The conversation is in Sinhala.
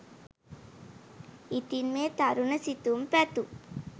ඉතින් මේ තරුණ සිතුම් පැතුම්